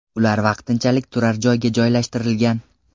Ular vaqtinchalik turar joyga joylashtirilgan .